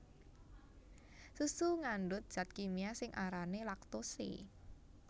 Susu ngandhut zat kimia sing arané laktose